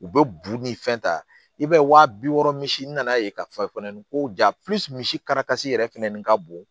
U bɛ buru ni fɛn ta i b'a ye waa bi wɔɔrɔ misi nan'a ye ka fɔ fana ni ko ja misi kari kasi yɛrɛ fɛnɛni ka bon